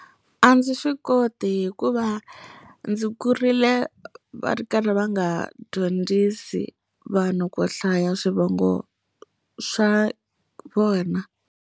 A ndzi swi koti hikuva ndzi kurile va ri karhi va nga ha dyondzisi vanhu ku hlaya swivongo swa vona.